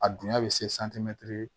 A dunya bɛ se